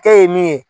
K'e ye min ye